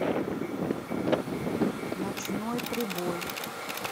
ночной прибой